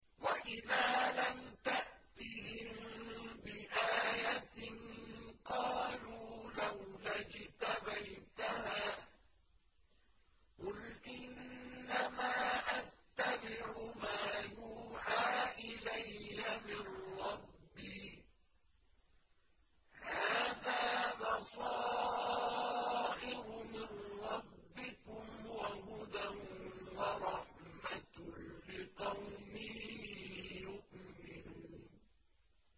وَإِذَا لَمْ تَأْتِهِم بِآيَةٍ قَالُوا لَوْلَا اجْتَبَيْتَهَا ۚ قُلْ إِنَّمَا أَتَّبِعُ مَا يُوحَىٰ إِلَيَّ مِن رَّبِّي ۚ هَٰذَا بَصَائِرُ مِن رَّبِّكُمْ وَهُدًى وَرَحْمَةٌ لِّقَوْمٍ يُؤْمِنُونَ